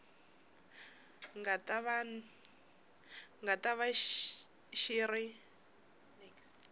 nga ta va xi ri